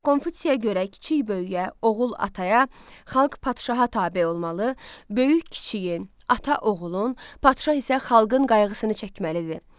Konfutsiyə görə kiçik böyüyə, oğul ataya, xalq padşaha tabe olmalı, böyük kiçiyi, ata oğulun, padşah isə xalqın qayğısını çəkməlidir.